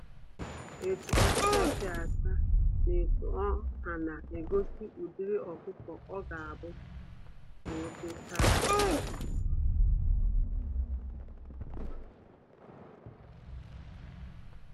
Etu ọkụkọ si acha, na etu ọha na egosi ụdịrị ọkụkọ ọ ga-abu n'otocha